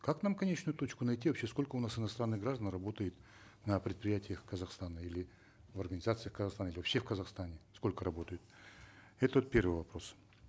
как нам конечную точку найти вообще сколько у нас инсотранных граждан работает на предприятиях казахстана или в организациях казахстана или вообще в казахстане сколько работают это вот первый вопрос